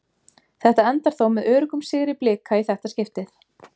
Þetta endar þó með öruggum sigri Blika í þetta skiptið.